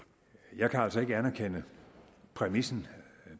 at jeg altså ikke kan anerkende præmissen